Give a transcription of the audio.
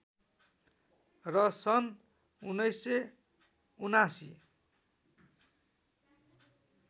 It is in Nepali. र सन् १९७९